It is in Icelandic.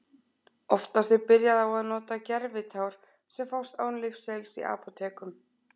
Oftast er byrjað á að nota gervitár sem fást án lyfseðils í apótekum.